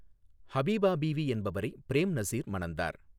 ஹபீபா பீவி என்பவரை பிரேம் நசீர் மணந்தார்.